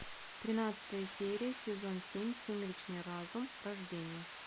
тринадцатая серия сезон семь сумеречный разум рождение